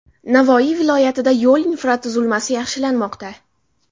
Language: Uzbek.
Navoiy viloyatida yo‘l infratuzilmasi yaxshilanmoqda.